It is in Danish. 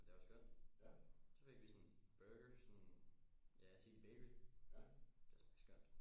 Men det var skønt så fik vi sådan burgers sådan ja city bakery det smagte skønt